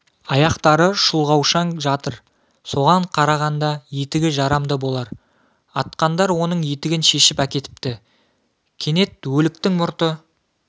аяқтары шұлғаушаң жатыр соған қарағанда етігі жарамды болар атқандар оның етігін шешіп әкетіпті кенет өліктің мұрты